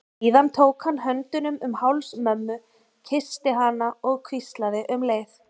Síðan tók hann höndunum um háls mömmu, kyssti hana og hvíslaði um leið